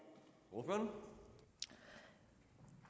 gå og